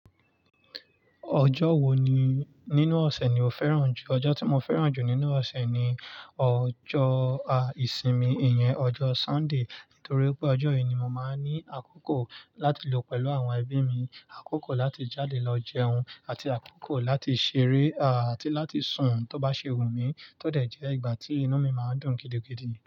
Ọjọ́ wo ni nínú ọ̀sẹ̀ ni o fẹ́ràn jù? Ọjọ́ tí mo fẹ́ràn jù nínú ọ̀sẹ̀ ni ọjọ́ à ìsinmi, ìyẹn ọjọ́ Sunday. Nítorí pé ọjọ́ yìí ni mo máa ń ní àkókò láti lò pẹ̀lú àwọn ẹbí mi, àkókò láti jáde lọ jẹun, àti àkókò láti ṣeré, àti láti sùn tó bá ṣe wù mí tó dẹ̀ jẹ́ ìgbà tí inú mi máa ń dùn gidigidi.